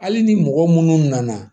Hali ni mɔgɔ minnu nana